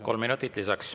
Kolm minutit lisaks.